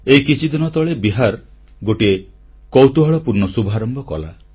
ଏହି କିଛିଦିନ ତଳେ ବିହାର ଗୋଟିଏ କୌତୁହଳପୂର୍ଣ୍ଣ ଶୁଭାରମ୍ଭ କଲା